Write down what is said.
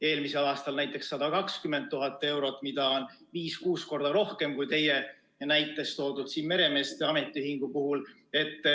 Eelmisel aastal näiteks oli seda 120 000 eurot, mida on 5–6 korda rohkem kui teie näites toodud meremeeste ametiühingu puhul.